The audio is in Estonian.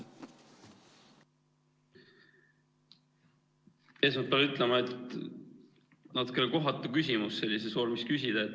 Esmalt pean ütlema, et natukene kohatu küsimus sellises vormis küsida.